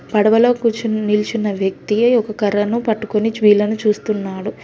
పడవలో కూర్చున్న నిల్చున్న వ్యక్తి ఒక కర్రను పట్టుకొని వీలను చూస్తున్నాడు.